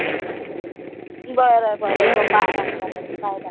बर बर झोपा आराम करा bye bye